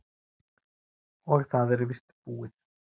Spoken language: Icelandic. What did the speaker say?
Og það er víst búið.